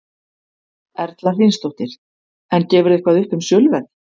Erla Hlynsdóttir: En gefurðu eitthvað upp um söluverð?